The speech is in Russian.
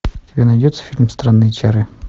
у тебя найдется фильм странные чары